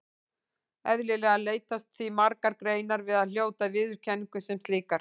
Eðlilega leitast því margar greinar við að hljóta viðurkenningu sem slíkar.